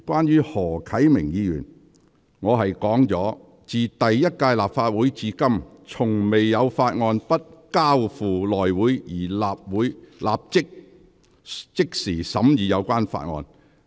就何啟明議員的議案，我指出："自第一屆立法會至今，從未有法案不交付內會而立法會須即時審議有關法案"。